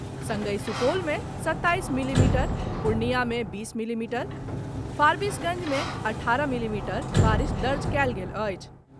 संगहि सुपौल मे सताईस मिलीमीटर, पूर्णिया मे बीस मिलीमीटर, फारबीसगंज मे अठारह मिलीमीटर बारिश दर्ज कयल गेल अछि।